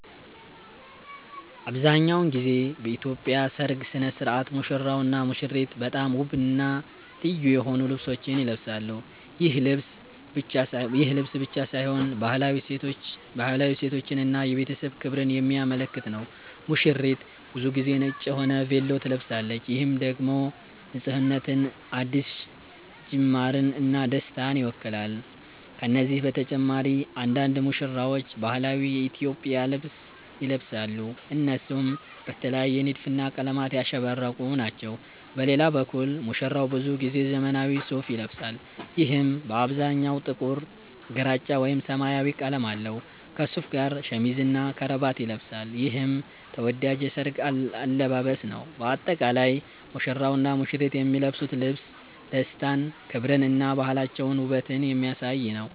አብዛሀኛውን ጊዜ በኢትዮጵያ ሠርግ ሥነ ሥርዓት ሙሽራውና ሙሽሪት በጣም ውብና ልዩ የሆኑ ልብሶችን ይለብሳሉ። ይህ ልብስ ብቻ ሳይሆን ባህላዊ እሴቶችን እና የቤተሰብ ክብርን የሚያመለክት ነው። ሙሽሪት ብዙ ጊዜ ነጭ የሆነ ቬሎ ትለብሳለች፣ ይህም ደግሞ ንፁህነትን፣ አዲስ ጅማርን እና ደስታን ይወክላል። ከነዚህ በተጨማሪ አንዳንድ ሙሽራዎች ባህላዊ የኢትዮጵያ ልብስ ይለብሳሉ፣ እነሱም በተለየ ንድፍና ቀለማት ያሸበረቁ ናቸው። በሌላ በኩል ሙሽራው ብዙ ጊዜ ዘመናዊ ሱፋ ይለብሳል፣ ይህም በአብዛኛው ጥቁር፣ ግራጫ ወይም ሰማያዊ ቀለም አለው። ከሱፉ ጋር ሸሚዝና ከረባት ይለብሳል፣ ይህም ተወዳጅ የሠርግ አለባበስ ነው። በአጠቃላይ ሙሽራውና ሙሽሪት የሚለብሱት ልብስ ደስታን፣ ክብርን እና ባህላቸውንና ውበትን የሚያሳይ ነው።